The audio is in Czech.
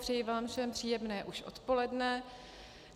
Přeji vám všem příjemné už odpoledne.